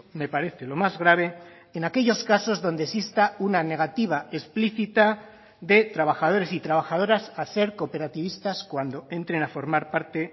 me parece lo más grave en aquellos casos donde exista una negativa explícita de trabajadores y trabajadoras a ser cooperativistas cuando entren a formar parte